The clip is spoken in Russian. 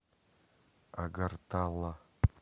агартала